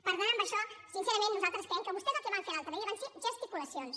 per tant amb això sincerament nosaltres creiem que vostès el que van fer l’altre dia van ser gesticulacions